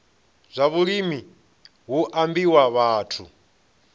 zwa vhulimi hu ambiwa vhathu